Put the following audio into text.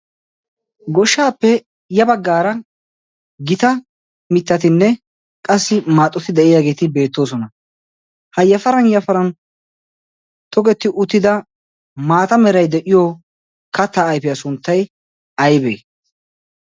goshshaappe ya baggaara gita mittatinne qassi maaxoti de7iyaageeti beettoosona. ha yafaran yafaran togetti uttida maata merai de7iyo kattaa aifiyaa sunttai aibee?